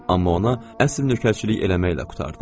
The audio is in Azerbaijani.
Amma ona əsl nökərçilik eləməklə qurtardım.